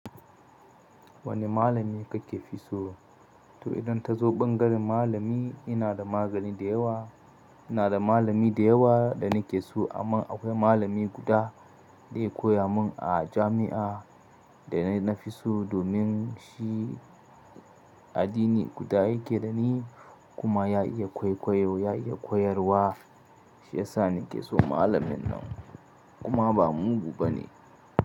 Wane malami kake fi so? To idan ka zo bangaren malami ina da magani da yawa, ina da malami da yawa da nake so amma akwai malami guda da ya koya mun a jami'a dana fi so domin shi addini guda yake da ni kuma ya iya kwaikwayo, ya iya koyarwa shiyasa nake so malamin nan kuma ba mugu bane.